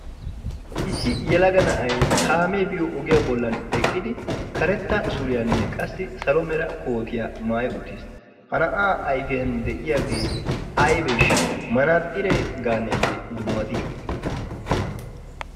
issi yalaga na7ai kaamee biyo ogiyaa bollan eqqidi karetta suriyaanne qassi salo mera kootiyaa maai uttiis. ha na7aa aifiyan de7iyaagee aibeeshsha manaaxxiree gaaneeyye dummatii?